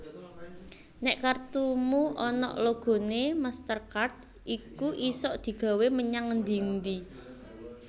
Nek kartumu onok logone MasterCard iku isok digawe menyang ngendi endi